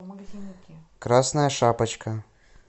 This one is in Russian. красная шапочка